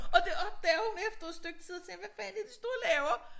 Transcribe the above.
Og det opdager hun efter et stykke tid og tænker hvad fanden det de står og laver